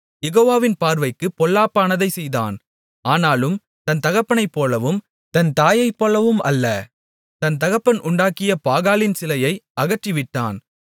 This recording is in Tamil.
யெகோவாவின் பார்வைக்குப் பொல்லாப்பானதைச் செய்தான் ஆனாலும் தன் தகப்பனைப் போலவும் தன் தாயைப் போலவும் அல்ல தன் தகப்பன் உண்டாக்கிய பாகாலின் சிலையை அகற்றிவிட்டான்